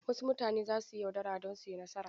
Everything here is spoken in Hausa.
Wasu mutane za su yi yaudara don su yi nasara.